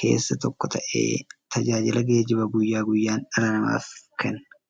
keessaa tokko ta'ee, tajaajila geejjibaa guyyaa guyyaan dhala namaaf kenna.